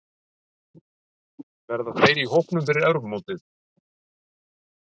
Verða þeir í hópnum fyrir Evrópumótið?